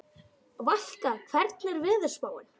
Valka, hvernig er veðurspáin?